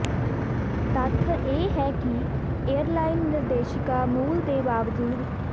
ਤੱਥ ਇਹ ਹੈ ਕਿ ਏਅਰਲਾਈਨ ਨਿਰਦੇਸ਼ਿਕਾ ਮੂਲ ਦੇ ਬਾਵਜੂਦ